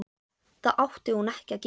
Það átti hún ekki að gera.